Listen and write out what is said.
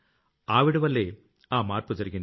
ఆవిడవల్లే ఆ మార్పు జరిగింది